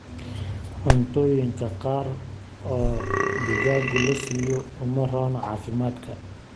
Cuntooyinka qaar oo digaagu lasiiyo uma roona caafimaadka.